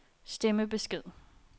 stemmebesked